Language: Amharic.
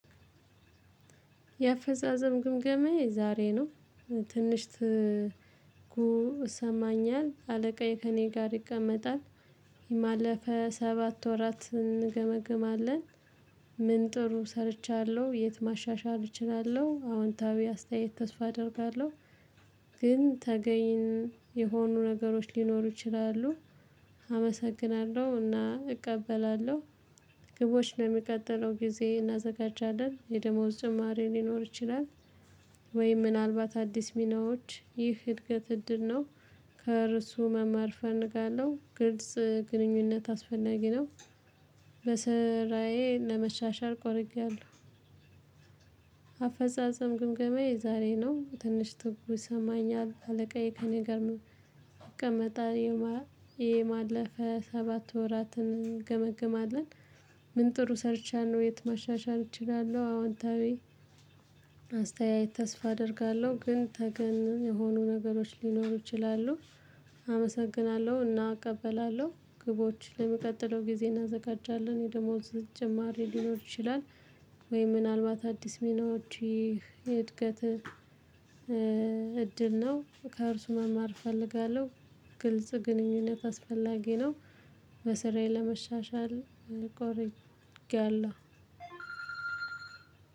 የአፈዛዘም ግምገሜ የዛሬ ነው ትንሽ እሰማኛል አለቃዬ ከእኔ ጋር ይቀመጣል የማለፈ ሰባት ወራት እንገመግማለን ምን ጥሩ ሰርቻለሁ? የት ማሻሻል እችላለሁ አዎንታዊ አስተያየት ተስፋ አደርጋለሁ ግን ተገኝ የሆኑ ነገሮች ሊኖሩ ይችላሉ አመሰግናለሁ። እና እቀበላለሁ ግቦች ለሚቀጥለው ጊዜ እናዘጋጃለን የደሞዝ ጭማሪ ሊኖር ይችላል። ወይ ምናልባት አዲስ ሚናዎች ይህ እድገት እድል ነው። ከእርሱ መማር አፈልጋለሁ ግልጽ ግንኙነት አስፈላጊ ነው በስራዬ ለመሻሻል ቆርጫያለሁ አፈጻጸም ግምገማዬ ዛሬ ነው ትንሽ ትጉህ የሰሰማኛል አለቃዬ ከእኔ ጋር ነው ይቀመጣል የማለፈ ሰባት ወራትን እንገመግማለን ምን ጥሩ ሰርቻለሁ የት ማሻሻል እችላለሁ አዎንታዊ አስተያየት ተስፋ አደርጋለሁ ግን ተገን የሆኑ ነገሮች ሊኖሩ ይችላሉ አመሰግናለሁ እና እቀበላለሁ ግቦች ለመቀጠለው ጊዜ እናዘጋጃለን የደሞዝ ጀማሪ ሊኖር ይችላል ወይ ምናልባት አዲስ ሚናዎች ይህ እድገት ነው ከእርሱ መማር እፈልጋለሁ ግልጽ ግንኙነት አስፈላጊ ነው በሰራዬ ለመሻሻል ቆርጌያለሁ